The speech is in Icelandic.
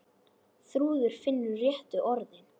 Þrúður finnur réttu orðin.